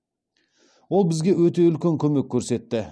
ол бізге өте үлкен көмек көрсетті